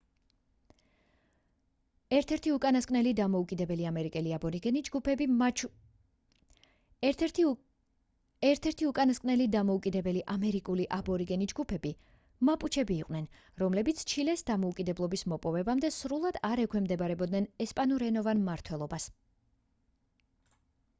ერთ-ერთი უკანასკნელი დამოუკიდებელი ამერიკული აბორიგენი ჯგუფები მაპუჩები იყვნენ რომლებიც ჩილეს დამოუკიდებლობის მოპოვებამდე სრულად არ ექვემდებარებოდნენ ესპანურენოვან მმართველობას